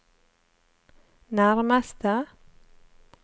nærmeste